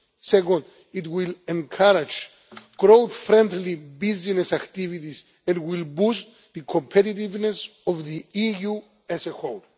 Second, it will encourage growth friendly business activities and will boost the competitiveness of the EU as a whole.